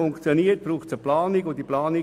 Dafür braucht es eine Planung.